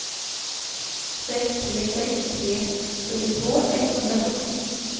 sex tre sex tre fyrtiotvå etthundrasjutton